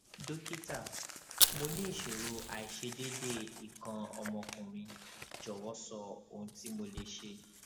dókítà mo ní ìṣòro aiṣedeede ikan omo okunrin jọwọ sọ ohun tí mo lè ṣe